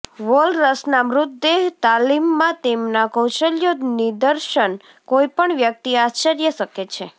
વોલરસના મૃતદેહ તાલીમમાં તેમના કૌશલ્યો નિદર્શન કોઈપણ વ્યક્તિ આશ્ચર્ય શકે છે